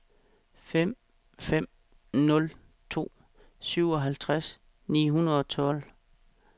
fem fem nul to syvoghalvtreds ni hundrede og tolv